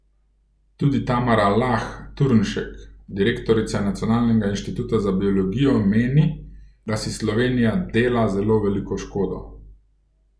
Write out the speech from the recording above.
Tudi Tamara Lah Turnšek, direktorica Nacionalnega inštituta za biologijo, meni, da si Slovenija dela zelo veliko škodo.